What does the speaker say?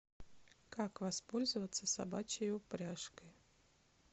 как воспользоваться собачьей упряжкой